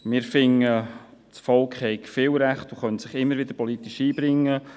Wir finden, das Volk habe viele Rechte und könne sich immer wieder politisch einbringen.